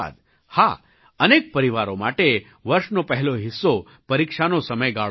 હા અનેક પરિવારો માટે વર્ષનો પહેલો હિસ્સો પરીક્ષાનો સમયગાળો હોય છે